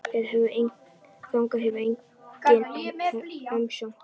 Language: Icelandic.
Þangað hefur engin umsókn borist.